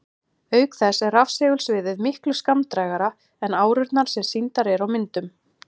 Auk þess er rafsegulsviðið miklu skammdrægara en árurnar sem sýndar eru á myndum.